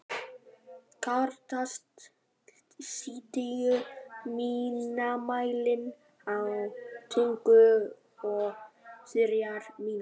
Karítas, stilltu tímamælinn á tuttugu og þrjár mínútur.